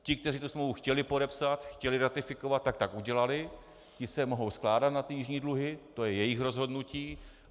Ti, kteří tu smlouvu chtěli podepsat, chtěli ratifikovat, tak tak udělali, ti se mohou skládat na ty jižní dluhy, to je jejich rozhodnutí.